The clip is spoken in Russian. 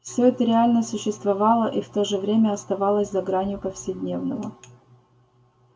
все это реально существовало и в то же время оставалось за гранью повседневного